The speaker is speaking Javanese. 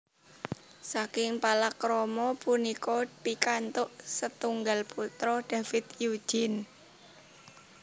Saking palakrama punika pikantuk setunggal putra David Eugene